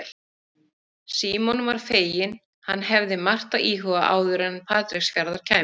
Símon var feginn, hann hafði margt að íhuga áður en til Patreksfjarðar kæmi.